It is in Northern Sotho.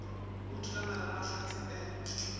o thulana le mahlatse e